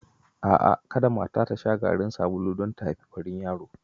A'a kada mata ta sha garin sabulu don ta haifi farin yaro.